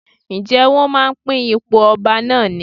Ǹjẹ́ wón máa ń pín ipò ọba náà ni?